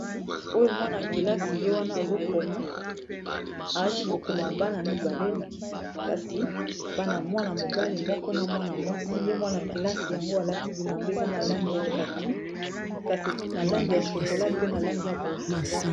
oyo mwana-kelasi ye wana azokoma arati kokoma bana mibale kasi bana y mwana mobale moko na mwana mwasi ye mwana-kelasi yango alati bilamba eza na langi ya kaki kasi na langi ya shokola pe na langi ya bozinga